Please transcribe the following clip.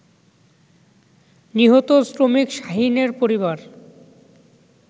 নিহত শ্রমিক শাহীনের পরিবার